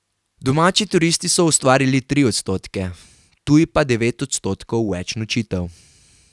Domači turisti so ustvarili tri odstotke, tuji pa devet odstotkov več nočitev.